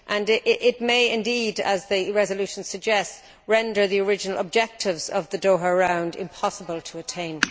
this may indeed as the resolution suggests render the original objectives of the Doha Round impossible to attain.